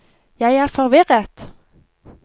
jeg er forvirret